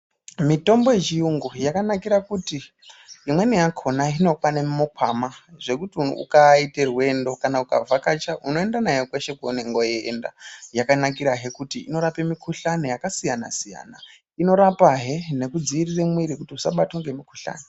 Mitombo yechiyungu yakanakira kuti imweni yakona inokwana mumukwama zvekuti ukaite rwendo kana ukavhakacha unoenda nayo kweshe kwaunenge weinda. Yakanakirahe kuti inorapa mikuhlana yakasiyana siyana, inorapahe nekudzivirira mwiira kuti usabatwa ngemukuhlana.